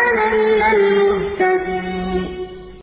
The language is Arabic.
أَنَا مِنَ الْمُهْتَدِينَ